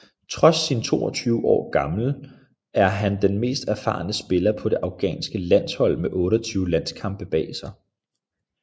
Trods sin 22 år gammel er han den mest erfaren spiller på det afghanske landshold med 28 landskampe bag sig